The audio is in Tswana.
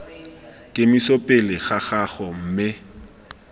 kemiso pele ga gago mme